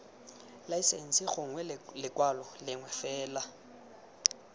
laesense gongwe lekwalo lengwe fela